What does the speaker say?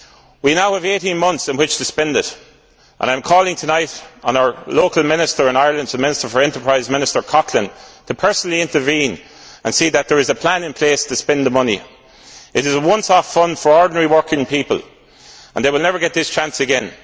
We now have 18 months in which to spend it, and I am calling tonight on our local Minister in Ireland, the Minister for Enterprise Coughlan, to personally intervene and see that there is a plan in place to spend the money. It is a one off fund for ordinary working people and they will never get this chance again.